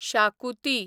शाकुती